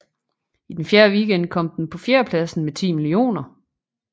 I den fjerde weekend kom den på fjerdepladsen med 10 mio